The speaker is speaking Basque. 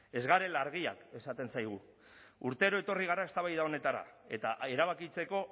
ez garela argiak esaten zaigu urtero etorri gara eztabaida honetara eta erabakitzeko